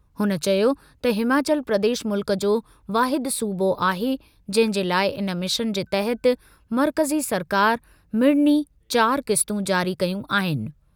हुन चयो त हिमाचल प्रदेश मुल्क जो वाहिद सूबो आहे जंहिं जे लाइ इन मिशन जे तहत मर्कज़ी सरकार मिड़नी चार क़िस्तूं जारी कयूं आहिनि।